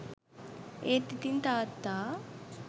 ඒත් ඉතිං තාත්තා